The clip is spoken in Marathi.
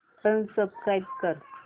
अनसबस्क्राईब कर